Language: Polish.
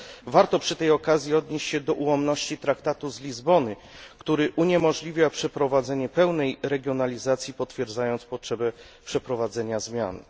Warto przy tej okazji odnieść się do ułomności Traktatu z Lizbony, który uniemożliwia przeprowadzenie pełnej regionalizacji, co potwierdza potrzebę przeprowadzenia zmian.